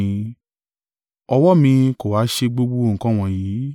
Ọwọ́ mi kò ha ṣe gbogbo nǹkan wọ̀nyí.’